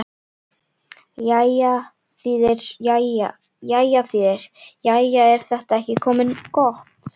Jæja þýðir: Jæja, er þetta ekki komið gott?